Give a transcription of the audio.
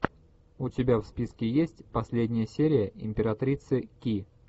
у тебя в списке есть последняя серия императрица ки